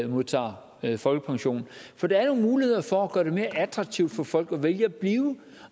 modtager folkepension for der er jo muligheder for at gøre det mere attraktivt for folk at vælge at blive